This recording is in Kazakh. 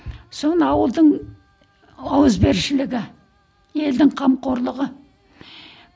соны ауылдың ауызбіршілігі елдің қамқорлығы